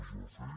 es va fer